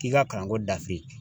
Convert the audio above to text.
K'i ka kalan ko dafin